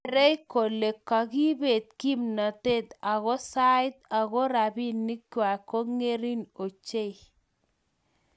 geerei kole kagibeet kimnatet ako sait ago robinikwai kongering ochei